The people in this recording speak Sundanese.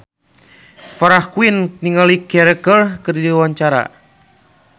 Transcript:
Farah Quinn olohok ningali Ciara keur diwawancara